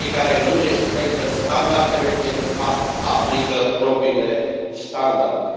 Cei care nu respectă standardele, de fapt, aplică propriile standarde.